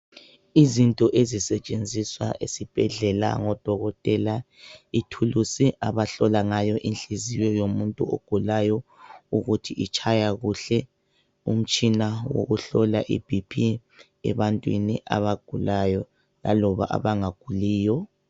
Izinto ezisetshenziswa esibhedlela ngodokotela ithulusi abahlola ngayo inhliziyo yomuntu ogulayo ukuthi itshaya kuhle. Umtshina wokuhlola iBP ebantwini abagulayo laloba abangaguliyo.